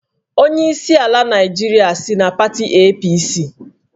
Onyeisi ala Naịjirịa si na pati APC